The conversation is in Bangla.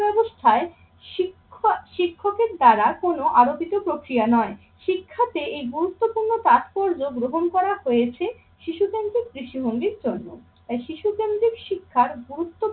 ব্যাবস্থায় শিক্ষ~ শিক্ষকের দ্বারা কোনো আলোপিত প্রক্রিয়া নয়। শিক্ষাতে এই গুরুত্বপূর্ণ তাৎপর্য গ্রহণ করা হয়েছে শিশুকেন্দ্রিক দৃষ্টিভঙ্গির জন্য। তাই শিশু কেন্দ্রীক শিক্ষার গুরুত্ব